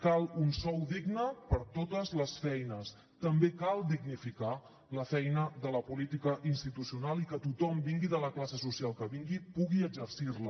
cal un sou digne per a totes les feines també cal dignificar la feina de la política institucional i que tothom vingui de la classe social que vingui pugui exercir la